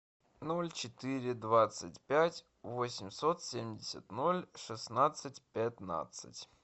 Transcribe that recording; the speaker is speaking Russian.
ноль четыре двадцать пять восемьсот семьдесят ноль шестнадцать пятнадцать